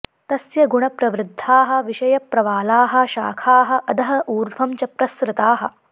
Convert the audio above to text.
तस्य गुणप्रवृद्धाः विषयप्रवालाः शाखाः अधः ऊर्ध्वं च प्रसृताः